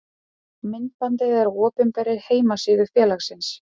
Myndbandið er á opinberri heimasíðu félagsins.